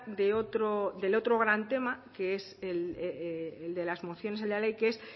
de otro del otro gran tema que es el de las mociones en la ley que es